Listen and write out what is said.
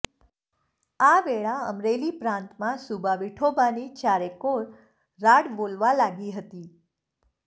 આ વેળા અમરેલી પ્રાંતમાં સૂબા વિઠોબાની ચારેકોર રાડ બોલવા લાગી હતી